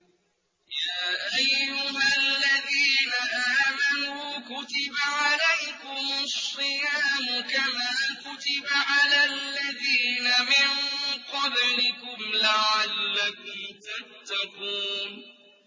يَا أَيُّهَا الَّذِينَ آمَنُوا كُتِبَ عَلَيْكُمُ الصِّيَامُ كَمَا كُتِبَ عَلَى الَّذِينَ مِن قَبْلِكُمْ لَعَلَّكُمْ تَتَّقُونَ